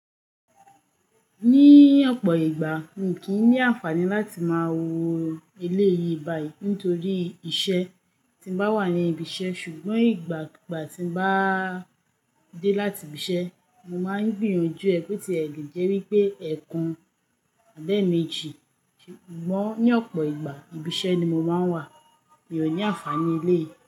Ní ọ̀pọ̀ ìgbà, mi kìí ní àǹfààní láti máa wo eleyìí báyìí nítorí iṣẹ́ tí bá wà ní ibi iṣẹ́. Ṣùgbọ́n ìgbàgbà tí bá dé láti ibi iṣẹ́, mo máa ń gbìyànjú ẹ pé tí ẹ le jẹ́ wípé ẹekan abi eeméjì. Ṣùgbọ́n ní ọ̀pọ̀ ìgbà, ibi iṣẹ́ ni mo máa ń wà. Mi ò ní àǹfààní ilé.